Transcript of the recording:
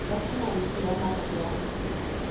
ya phumantsho ya matlo ya